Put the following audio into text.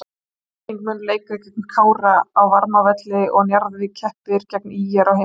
Afturelding mun leika gegn Kára á Varmárvelli og Njarðvík keppir gegn ÍR á heimavelli.